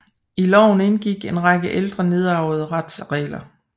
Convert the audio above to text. I loven indgik en række ældre nedarvede retsregler